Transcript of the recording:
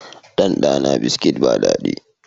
Ɗanɗana Biskit ba daɗi